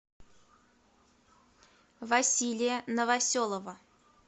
василия новоселова